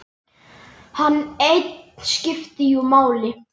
Hann einn skipti jú máli.